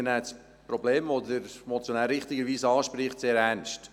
Wir nehmen das Problem, welches der Motionär richtigerweise anspricht, sehr ernst.